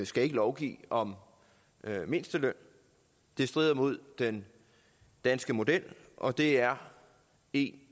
skal lovgive om mindsteløn det strider mod den danske model og det er en